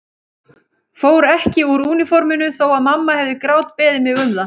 Fór ekki úr úniforminu þó að mamma hefði grátbeðið mig um það.